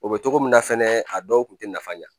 O bɛ cogo min na fɛnɛ a dɔw tun tɛ nafa ɲɛ